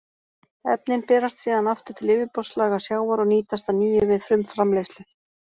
Efnin berast síðan aftur til yfirborðslaga sjávar og nýtast að nýju við frumframleiðslu.